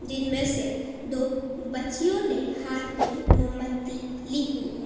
इनमें से दो बच्चियों ने हाथ में मोमबत्ती ली हुई है।